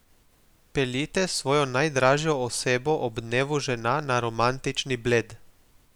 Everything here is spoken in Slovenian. Peljite svojo najdražjo osebo ob dnevu žena na romantični Bled.